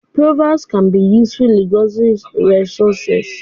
Proverbs can be useful linguistic resources